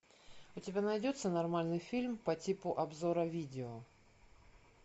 у тебя найдется нормальный фильм по типу обзора видео